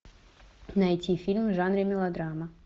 найти фильм в жанре мелодрама